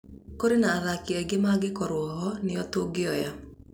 Kũrĩ na athaki angĩ mangĩkorwo ho nĩo tũngĩoya